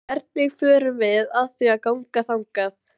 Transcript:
Hvernig förum við að því að ganga þangað?